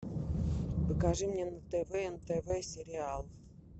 покажи мне на тв нтв сериал